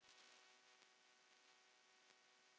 Alger steik.